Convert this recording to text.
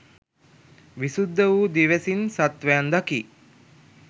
විසුද්ධ වූ දිවැසින් සත්වයන් දකී.